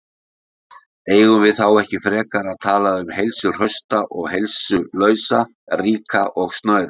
Eigum við þá ekki frekar að tala um heilsuhrausta og heilsulausa, ríka og snauða?